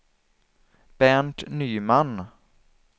Bernt Nyman